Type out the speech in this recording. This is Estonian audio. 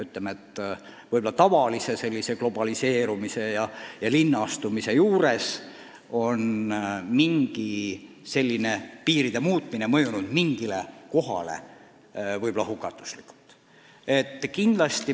Ütleme nii, et üldise globaliseerumise ja linnastumise juures on piiride muutmine mõjunud mingile kohale hukatuslikult.